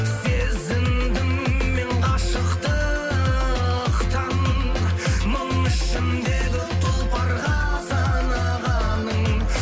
сезіндім мен ғашықтықтың мың ішіндегі тұлпарға санағанын